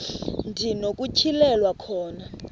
ndi nokutyhilelwa khona